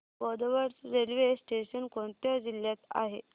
Bodwad railway station कोणत्या जिल्ह्यात आहे